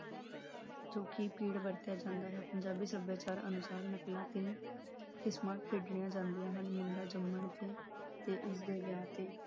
ਜੋ ਕਿ ਪੀੜ ਵਰਤਿਆ ਜਾਂਦਾ ਹੈ ਪੰਜਾਬੀ ਸੱਭਿਆਚਾਰ ਅਨੁਸਾਰ ਨਕਲਾਂ ਤੇ ਕਿਸਮਾਂ ਖੇਡੀਆਂ ਜਾਂਦੀਆ ਹਨ ਮੁੰਡਾ ਜੰਮਣ ਤੇ, ਤੇ ਉਸਦੇ ਵਿਆਹ ਤੇ